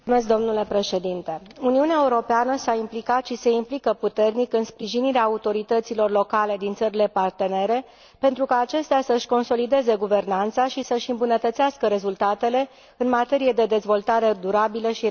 Uniunea Europeană s a implicat și se implică puternic în sprijinirea autorităților locale din țările partenere, pentru ca acestea să își consolideze guvernanța și să își îmbunătățească rezultatele în materie de dezvoltare durabilă și eradicare a sărăciei.